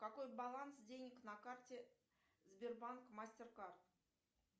какой баланс денег на карте сбербанк мастер кард